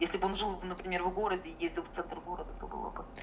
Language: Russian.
если бы он жил например в городе и ездил в центр города то было бы